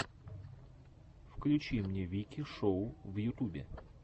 включи мне вики шоу в ютубе